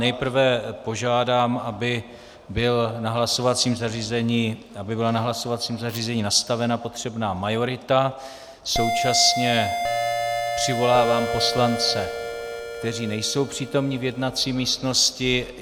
Nejprve požádám, aby byla na hlasovacím zařízení nastavena potřebná majorita, současně přivolávám poslance, kteří nejsou přítomni v jednací místnosti.